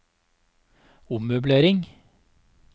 ommøblering